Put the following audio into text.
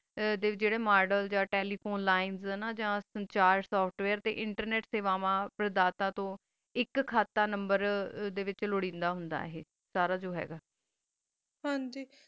ਏਹਾ ਜਰਾ ਮੋਦੇਲ ਤਾ phon line software ਯਾ internet ਏਕ ਖਾਤਾ number ਡੀ ਵੇਚ ਲੁਰੇਦਾਂ ਹੁੰਦਾ ਆਯ ਸਾਰਾ ਜੋ ਹੈ ਗਾ ਹਨ ਜੀ